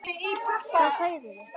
Hvað sagirðu?